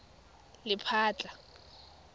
lephatla